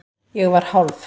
Ég var hálf